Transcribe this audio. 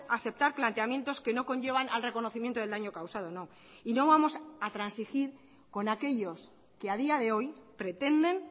a aceptar planteamientos que no conllevan al reconocimiento del daño causado no y no vamos a transigir con aquellos que a día de hoy pretenden